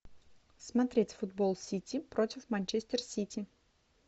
смотреть футбол сити против манчестер сити